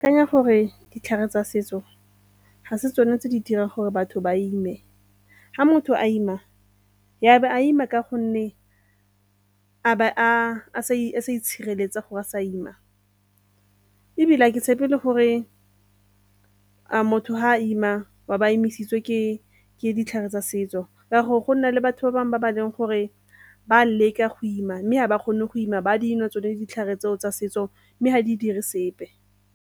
Akanya gore ditlhare tsa setso ga se tsone tse di dirang gore batho ba ime, ga motho a ima ya be a ima ka gonne a be a sa itshireletsa gore a sa ima ebile ha ke tshepe le gore a motho ha ima wa ba a imisitswe ke ditlhare tsa setso, ka gore gona le batho ba bangwe ba ba leng gore ba leka go ima mme ga ba kgone go ima, ba dinwa tsone ditlhare tseo tsa setso mme ga di dire sepe.